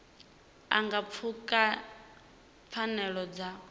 a nga pfuka pfanelo dza